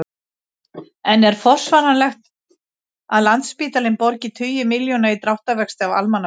En er forsvaranlegt að Landspítalinn borgi tugi milljóna í dráttarvexti af almannafé?